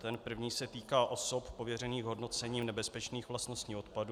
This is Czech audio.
Ten první se týká osob pověřených hodnocením nebezpečných vlastností odpadu.